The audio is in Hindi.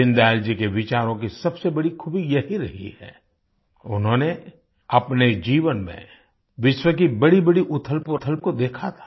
दीनदयाल जी के विचारों की सबसे बड़ी खूबी यही रही है कि उन्होंने अपने जीवन में विश्व की बड़ीबड़ी उथलपुथल को देखा था